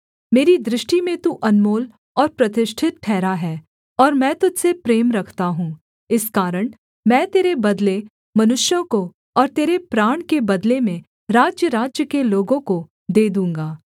मेरी दृष्टि में तू अनमोल और प्रतिष्ठित ठहरा है और मैं तुझ से प्रेम रखता हूँ इस कारण मैं तेरे बदले मनुष्यों को और तेरे प्राण के बदले में राज्यराज्य के लोगों को दे दूँगा